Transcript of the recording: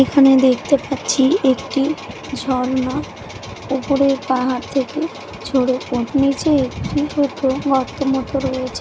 এখানে দেখতে পাচ্ছি একটি ঝর্ণা উপরের পাহাড় থেকে ঝরে পোর-- নিচে একটি পুকুর গর্ত মতো রয়েছে।